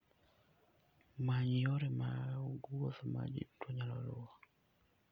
Many yore mag wuoth ma ji duto nyalo luwo.